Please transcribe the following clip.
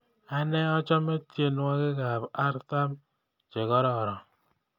Ane achome tyenwogik artam chegororon